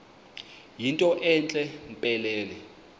yinto entle mpelele